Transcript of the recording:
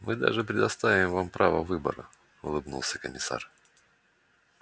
мы даже предоставим вам право выбора улыбнулся комиссар